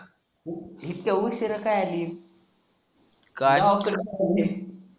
हिथं उशिरा का आली? गावाकडं कमी आहे.